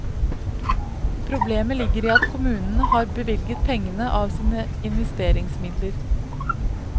Problemet ligger i at kommunen har bevilget pengene av sine investeringsmidler.